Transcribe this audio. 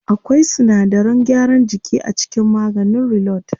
Akwai sinadaran gyaran jiki a cikin maganin reload.